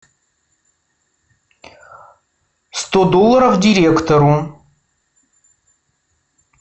сто долларов директору